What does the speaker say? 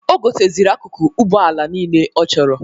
O goteziri akụkụ Ụgbọala nile ọ chọrọ.